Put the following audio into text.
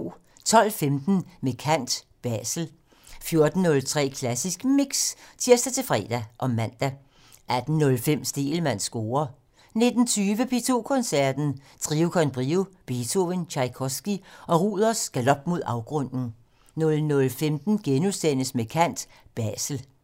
12:15: Med kant - Basel 14:03: Klassisk Mix (tir-fre og man) 18:05: Stegelmanns score 19:20: P2 Koncerten - Trio con Brio, Beethoven, Tjajkovskij og Ruders galop mod afgrunden 00:15: Med kant - Basel *